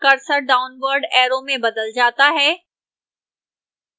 cursor downward arrow में बदल जाता है